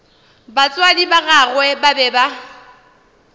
batswadi ba gagwe ba be